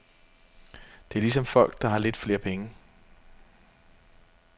Det er ligesom folk, der har lidt flere penge.